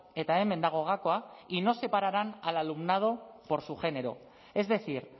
eta hemen dago gakoa y no separarán al alumnado por su género es decir